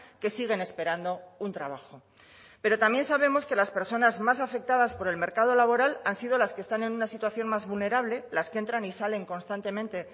que siguen esperando un trabajo pero también sabemos que las personas más afectadas por el mercado laboral han sido las que están en una situación más vulnerable las que entran y salen constantemente